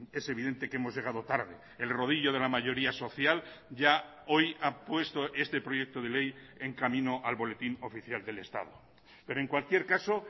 es evidente que hemos llegado tarde el rodillo de la mayoría social ya hoy ha puesto este proyecto de ley en camino al boletín oficial del estado pero en cualquier caso